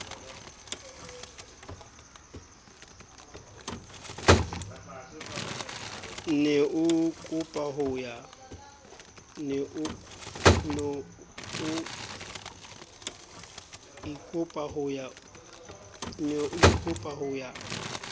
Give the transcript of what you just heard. ne o ikopa ho ya